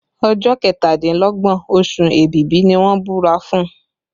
Ọjọ́ kẹtàdínlọ́gbọ̀n oṣù Èbìbí ni wọ́n búra fún